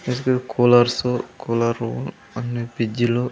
--Do coolers కూలర్స్లు అన్నీ ఫ్రీడ్జ్లు .